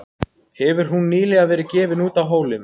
Hefur hún nýlega verið gefin út á Hólum.